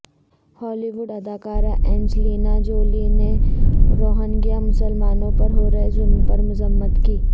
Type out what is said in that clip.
ہالی ووڈ اداکارہ Angelina Jolie نے روہنگیا مسلمانوں پر ہو رہے ظلم پر مذمت کی